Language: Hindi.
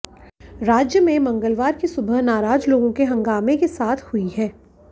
राज्य में मंगलवार की सुबह नाराज लोगों के हंगामे के साथ हुई है